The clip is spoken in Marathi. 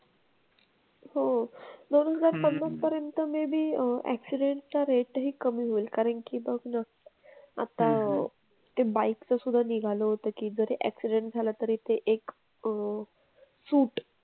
हो. दोन हजार पन्नास पर्यंत maybe अह accident चा rate ही कमी होईल कारण की बघ ना आता ते bike चं सुद्धा निघालं होतं की जर accident झाला तरी ते एक अह suit,